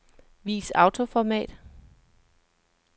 Vis autoformat.